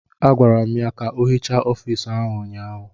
Agwara m ya ka ọ hichaa ọfiisi ahụ ụnyaahụ!